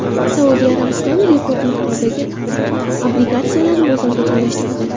Saudiya Arabistoni rekord miqdordagi obligatsiyalarni bozorga joylashtirdi.